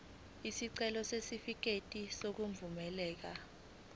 isicelo sesitifikedi sokwamukeleka